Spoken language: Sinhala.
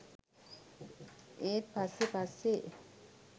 ඒත් පස්සෙ පස්සෙ